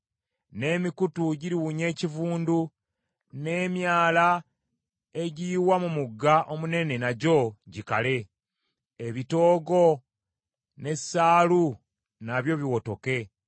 N’emikutu giriwunya ekivundu, n’emyala egiyiwa mu mugga omunene nagyo gikale; ebitoogo n’essaalu nabyo biwotoke.